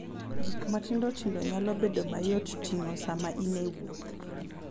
Gik matindo tindo nyalo bedo mayot ting'o sama in e wuoth.